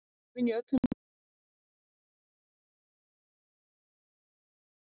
Efinn í öllum sínum margbreytilegu myndum fylgir foreldrum langveikra barna alla tíð.